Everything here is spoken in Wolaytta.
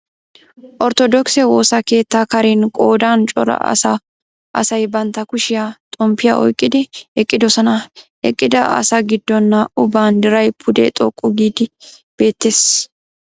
Orttodookise woosa keettaa karen qoodan cora asay bantta kushiyan xomppiya oyqqidi eqqidosona. Eqqida asaa giddon naa"u banddiray pude xoqqu giidi beettees.